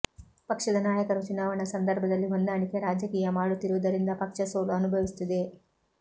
ಪಕ್ಷದ ನಾಯಕರು ಚುನಾವಣಾ ಸಂದರ್ಭದಲ್ಲಿ ಹೊಂದಾಣಿಕೆ ರಾಜ ಕೀಯ ಮಾಡುತ್ತಿರುವುದರಿಂದ ಪಕ್ಷ ಸೋಲು ಅನುಭವಿಸುತ್ತಿದೆ